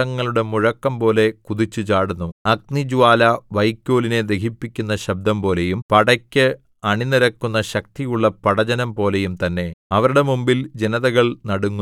അവർ പർവ്വതശിഖരങ്ങളിൽ രഥങ്ങളുടെ മുഴക്കംപോലെ കുതിച്ചുചാടുന്നു അഗ്നിജ്വാല വൈക്കോലിനെ ദഹിപ്പിക്കുന്ന ശബ്ദംപോലെയും പടക്ക് അണിനിരക്കുന്ന ശക്തിയുള്ള പടജ്ജനം പോലെയും തന്നെ